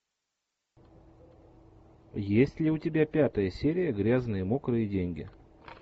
есть ли у тебя пятая серия грязные мокрые деньги